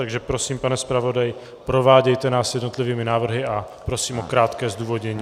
Takže prosím, pane zpravodaji, provádějte nás jednotlivými návrhy a prosím o krátké zdůvodnění.